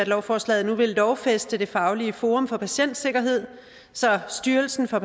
lovforslaget nu vil lovfæste det faglige forum for patientsikkerhed så styrelsen for